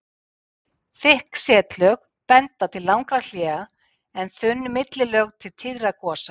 Þykk setlög benda til langra hléa en þunn millilög til tíðra gosa.